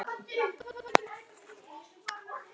En eitt er víst